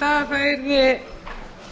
yrði